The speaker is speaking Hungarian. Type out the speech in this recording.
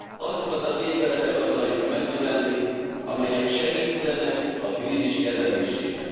Azokat a tételeket akarjuk megnövelni, amelyek segítenek a krízis kezelésében.